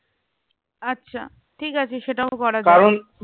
আচ্ছা ঠিক আছে সেটাও করা যায়